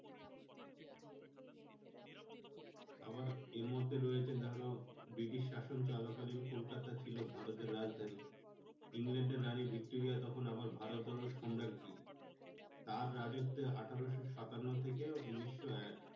আবার এর মধ্যে রয়েছে ধরো ব্রিটিশ শাসন চলা কালীন কলকাতা ছিল ভারতের রাজধানী ইংল্যান্ডের রানী ভিক্টোরিয়া তখন আবার ভারতেরও সম্রাগ্রী তার রাজত্বে আঠারোশো সাতান্ন থেকে উনিশশো এক